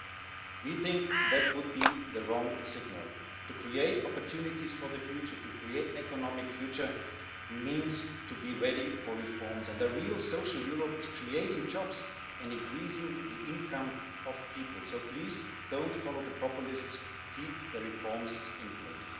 That, we think, would be the wrong signal. To create opportunities for the future, to create an economic future, means to be ready for reforms, and a real social Europe means creating jobs and increasing peopleʼs income. So please donʼt follow the populists keep the reforms in place.